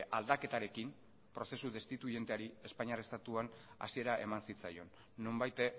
aldaketarekin prozesu destituienteari espainiar estatuan hasiera eman zitzaion nonbait